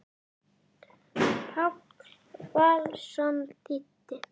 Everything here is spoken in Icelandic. Páll Valsson þýddi.